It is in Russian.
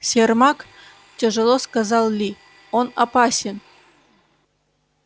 сермак тяжело сказал ли он опасен